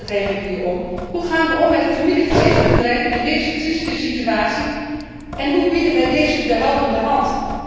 En daar gaat het hier eigenlijk om hoe gaan we om met de familiegezinsbedrijven in deze trieste situatie en hoe bieden wij hun een helpende hand?